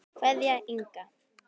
Kveðja, Inga.